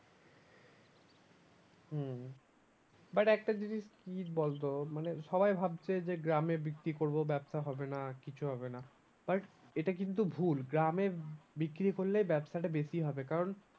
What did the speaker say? হম but একটা জিনিস কি বলতো মানে সবাই ভাবছে যে গ্রামে বিক্রি করবো ব্যবসা হবে না কিছু হবে না। but এটা কিন্তু ভুল গ্রামের বিক্রি করলে ব্যবসাটা বেশি হবে কারণ